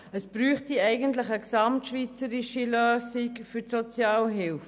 Es bedürfte eigentlich einer gesamtschweizerischen Lösung für die Sozialhilfe.